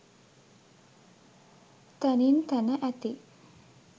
තැනින් තැන ඇති